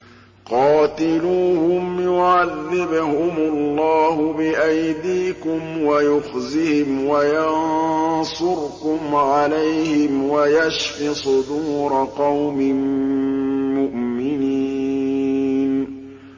قَاتِلُوهُمْ يُعَذِّبْهُمُ اللَّهُ بِأَيْدِيكُمْ وَيُخْزِهِمْ وَيَنصُرْكُمْ عَلَيْهِمْ وَيَشْفِ صُدُورَ قَوْمٍ مُّؤْمِنِينَ